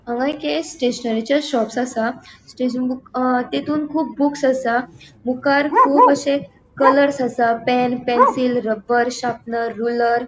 हांगा एक स्टेशनेरीचे शोप्स असा तेतुन कुब बुक्स असा मुकार कुब आशे कलरस असा pen pencil rubber sharpener ruler .